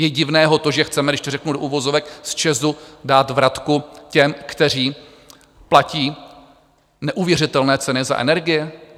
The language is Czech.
Je divné to, že chceme, když to řeknu do uvozovek, z ČEZ dát vratku těm, kteří platí neuvěřitelné ceny za energie?